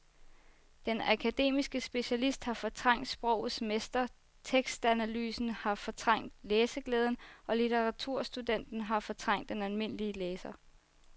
Den akademiske specialist har fortrængt sprogets mester, tekstanalysen har fortrængt læseglæden og litteraturstudenten har fortrængt den almindelige læser.